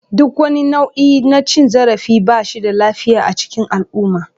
Duk wani nau'i na cin zarafi ba shi da lafiya a cikin al'umma.